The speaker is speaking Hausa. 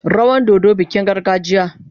Rawan dodo bikin gargajiya.